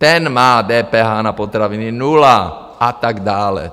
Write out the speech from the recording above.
Ten má DPH na potraviny nula a tak dále.